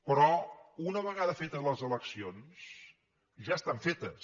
però una vegada fetes les eleccions ja estan fetes